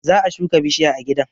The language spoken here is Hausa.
Za a shuka bishiya a gidan